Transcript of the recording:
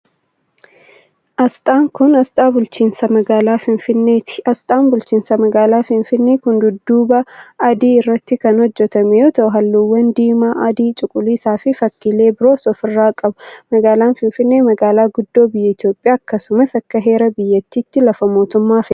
Asxaan kun, asxaa bulchiinsa magaalaa Finfinneeti. Asxaan bulchiinsa magaalaa finfinnee kun, dudduuba adii irratti kan hojjatame yoo ta'u, haalluuwwan diimaa, adii, cuquliisa fi fakkiilee biroos of irraa qaba. Magaalaan finfinnee, magaalaa guddoo biyya Itoophiyaa akkasumas akka heera biyyattiitti lafa mootummaa federaalaati.